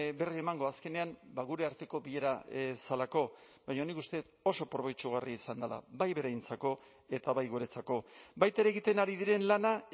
berri emango azkenean gure arteko bilera zelako baina nik uste dut oso probetxugarria izan dela bai beraientzako eta bai guretzako baita ere egiten ari diren lana